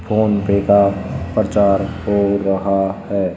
PhonePe का प्रचार हो रहा है।